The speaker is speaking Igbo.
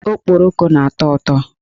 Okporoko na-atọ ụtọ.